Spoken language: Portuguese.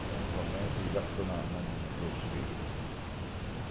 Então, realmente, e lá ficou na mão dos outros filhos.